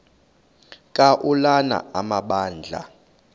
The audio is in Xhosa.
ka ulana amabandla